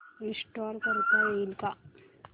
install करता येईल का